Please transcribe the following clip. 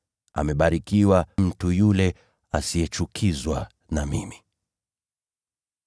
Amebarikiwa mtu yule asiyechukizwa na mimi.”